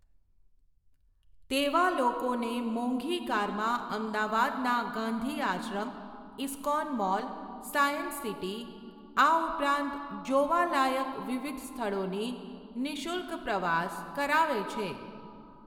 તેવા લોકોને મોંઘી કારમાં અમદાવાદના ગાંધીઆશ્રમ, ઇસ્કોન મોલ, સાયન્સસિટી આ ઉપરાંત જોવાલાયક વિવિધ સ્થળોની નિઃશુલ્ક પ્રવાસ કરાવે છે